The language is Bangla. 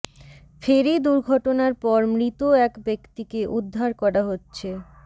ফেরি দুর্ঘটনার পর মৃত এক ব্যক্তিকে উদ্ধার করা হচ্ছে